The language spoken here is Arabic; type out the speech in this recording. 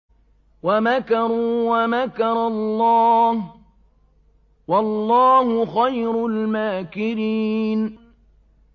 وَمَكَرُوا وَمَكَرَ اللَّهُ ۖ وَاللَّهُ خَيْرُ الْمَاكِرِينَ